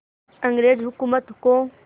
अंग्रेज़ हुकूमत को